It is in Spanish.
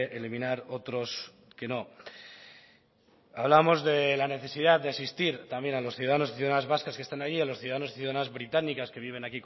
eliminar otros que no hablábamos de la necesidad de asistir también a los ciudadanos y ciudadanas vascas que están ahí a los ciudadanos y ciudadanas británicas que viven